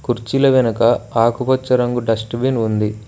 కుర్చీల వెనక ఆకుపచ్చ రంగు డస్ట్ బిన్ ఉంది.